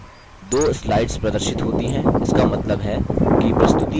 ध्यान दें दो slides प्रदर्शित होती हैं